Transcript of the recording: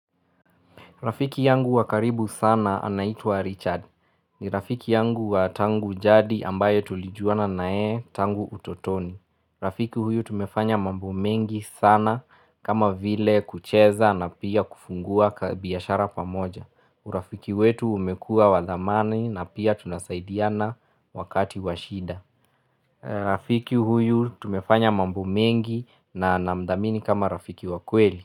Rafiki yangu wakaribu sana anaitua Richard. Ni rafiki yangu wa tangu jadi ambayo tulijuana nayeye tangu utotoni. Rafiki huyu tumefanya mambo mengi sana kama vile kucheza na pia kufungua kabiashara pamoja. Urafiki wetu umekua wadhamani na pia tunasaidiana wakati washida. Rafiki huyu tumefanya mambo mengi na namdhamini kama rafiki wakweli.